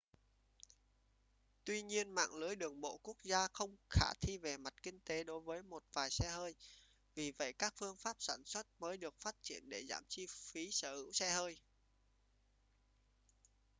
tuy nhiên mạng lưới đường bộ quốc gia không khả thi về mặt kinh tế đối với một vài xe hơi vì vậy các phương pháp sản xuất mới được phát triển để giảm chi phí sở hữu xe hơi